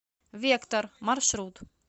вектор маршрут